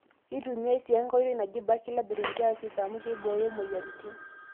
Keitumiyai sii enkae oitoi naji Bacillus thuringiensis amuu keibooyo moyiaritin.